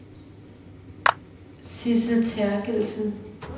Sidsel Therkildsen